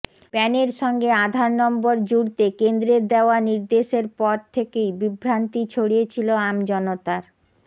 প্যানের সঙ্গে আধার নম্বর জুড়তে কেন্দ্রের দেওয়া নির্দেশের পর থেকেই বিভ্রান্তি ছড়িয়েছিল আমজনতার